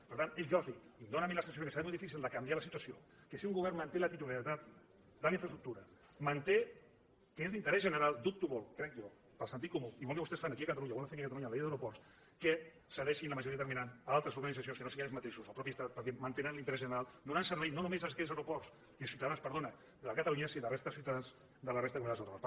per tant és lògic i em dóna a mi la sensació que serà molt difícil de canviar la situació que si un govern manté la titularitat de les infraestructures manté que és d’interès general dubto molt crec jo per sentit comú igual que vostès fan aquí a catalunya o volen fer aquí a catalunya amb la llei d’aeroports que cedeixin la majoria determinant a altres organitzacions que no siguin ells mateixos el mateix estat perquè mantenen l’interès general i donen servei no només a aquells ciutadans de catalunya sinó a la resta de ciutadans de la resta de comunitats autònomes